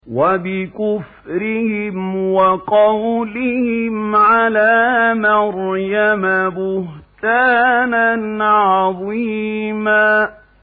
وَبِكُفْرِهِمْ وَقَوْلِهِمْ عَلَىٰ مَرْيَمَ بُهْتَانًا عَظِيمًا